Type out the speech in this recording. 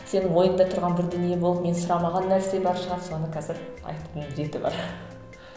сенің ойыңда тұрған бір дүние болып мен сұрамаған нәрсе бар шығар соны қазір айтудың реті бар